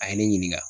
A ye ne ɲininka